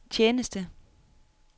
tjeneste